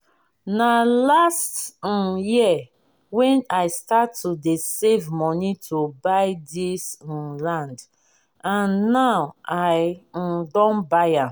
na last um year wey i start to dey save money to buy dis um land and now i um don buy am